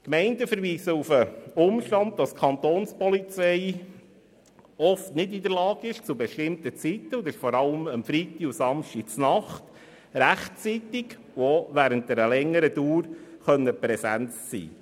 Die Gemeinden verweisen auf den Umstand, wonach die Kapo oft nicht in der Lage sei, zu bestimmten Zeiten – vor allem am Freitag und Samstag nachts – rechtzeitig und auch während einer längeren Zeitdauer präsent zu sein.